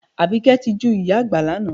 Àbíkẹ́ tijú ìyá àgbà lánàá